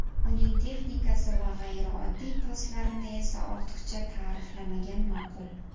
Uning texnikasi va g‘ayrioddiy paslarini esa ortiqcha ta’riflamagan ma’qul.